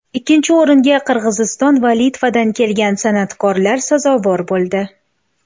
Ikkinchi o‘ringa Qirg‘iziston va Litvadan kelgan san’atkorlar sazovor bo‘ldi.